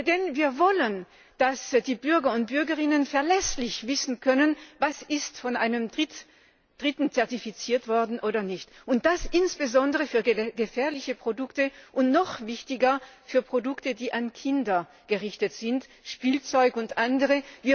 Denn wir wollen, dass die Bürgerinnen und Bürger verlässlich wissen können, was von einem Dritten zertifiziert worden ist und was nicht, und das insbesondere für gefährliche Produkte und noch wichtiger für Produkte, die an Kinder gerichtet sind Spielzeug und anderes.